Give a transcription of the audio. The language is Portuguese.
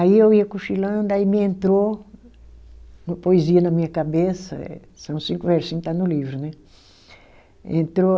Aí eu ia cochilando, aí me entrou uma poesia na minha cabeça eh, são cinco versinho, está no livro, né? Entrou